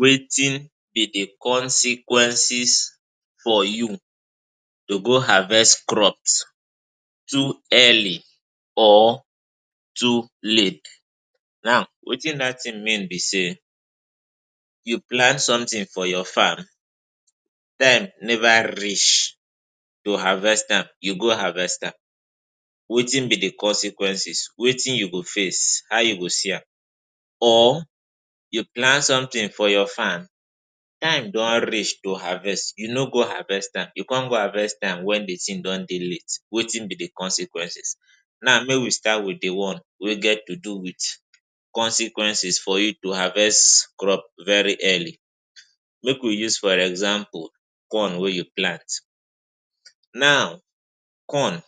Wetin be di consequences for you to go harvest crops too early or too late? Now, wetin dat tin mean be say, you plant somtin for your farm, time never reach to harvest am, you go harvest am. Wetin be di consequences? Wetin you go face? How you go see am? Or you plant somtin for your farm, time don reach to harvest, you no go harvest am, you come go harvest am wen di tin don dey late. Wetin be di consequences? Now make we start wit di one wey get to do wit consequences for you to harvest crops very early. Make we use for example corn wey you plant. Now corn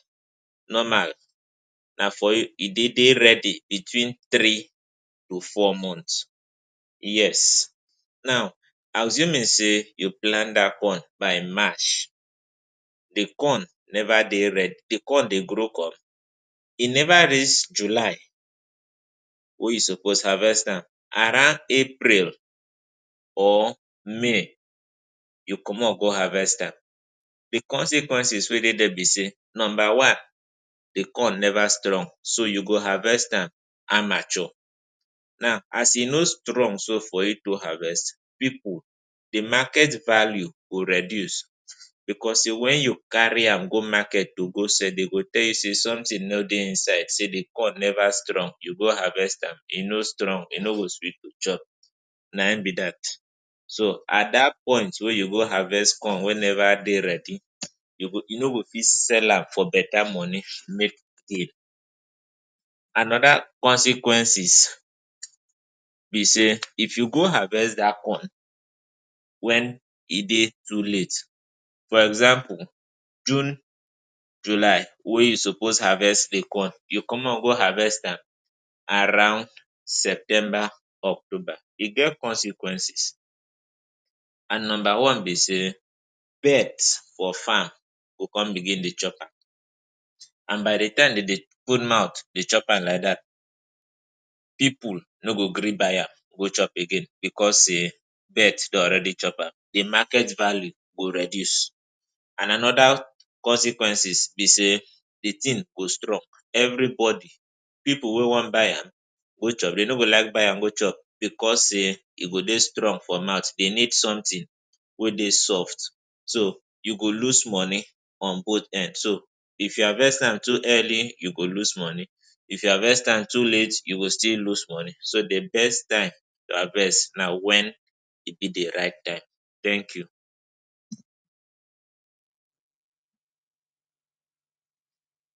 normal na for e dey dey ready between three to four months. Yes. Now, assuming say you plant dat corn by March. Di corn never dey ready, di corn dey grow up, e never reach July wey you suppose harvest am. Around April or May you comot go harvest am. Di consequences wey dey dia be say: Number one, di corn never strong. So you go harvest am amateur. Now, as e no strong so for you to harvest, pipu, di market value go reduce. Bicos say wen you carry am go market to go sell, dem go tell you say somtin no dey inside, say di corn never strong. You go harvest am, e no strong, e no go sweet to chop. Na im be dat. So at dat point wey you go harvest corn wey never dey ready, you no go fit sell am for betta money make make gain. Anoda consequences be say, if you go harvest dat corn wen e dey too late—for example, June, July wey you suppose harvest dey come—you comot go harvest am around September, October, e get consequences. And number one be say, birds for farm go come begin dey chop am. By di time dem dey put mouth dey chop am like dat, pipu no go gree buy am chop again bicos say birds don already chop am. Di market value go reduce. And anoda consequences be say di tin go strong. Evribody, pipu wey wan buy am go chop, e no go like buy am chop bicos say e go dey strong for mouth. Dem need somtin wey dey soft. So you go lose money on both end. So if you harvest am too early, you go lose money. If you harvest am too late, you go still lose money. So di best time to harvest na wen e dey di right time. Thank you.